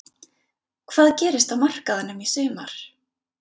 Hvað gerist á markaðinum í sumar?